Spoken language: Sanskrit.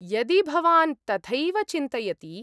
यदि भवान् तथैव चिन्तयति।